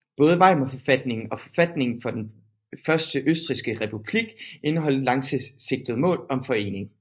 Både Weimarforfatningen og forfatningen for den første østrigske republik indeholdt langsigtede mål om forening